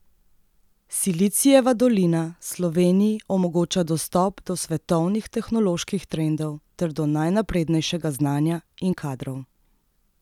Silicijeva dolina Sloveniji omogoča dostop do svetovnih tehnoloških trendov ter do najnaprednejšega znanja in kadrov.